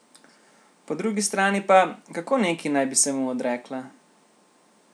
Po drugi strani pa, kako neki naj bi se mu odrekla?